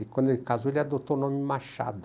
E quando ele casou, ele adotou o nome Machado.